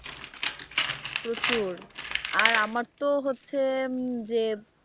প্রচুর আর আমার তো হচ্ছে যে,